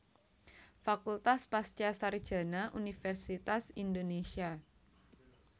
Fakultas Pasca Sarjana Universitas Indonesia